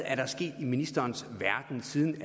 er sket i ministerens verden siden